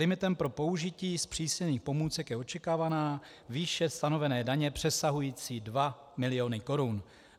Limitem pro použití zpřísněných pomůcek je očekávaná výše stanovené daně přesahující dva miliony korun.